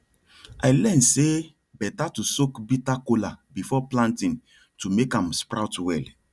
i learn say better to soak bitter kola before planting to make am sprout well